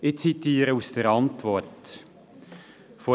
Ich zitiere aus der Antwort des Regierungsrates: «